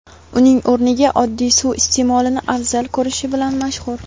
uning o‘rniga oddiy suv iste’molini afzal ko‘rishi bilan mashhur.